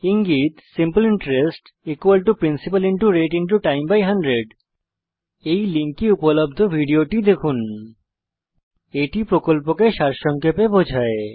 ইঙ্গিত simple interest principal rate time 100 এই লিঙ্কে উপলব্ধ ভিডিওটি দেখুন httpspokentutorialorgWhat is a Spoken Tutorial এটি প্রকল্পকে সারসংক্ষেপে বোঝায়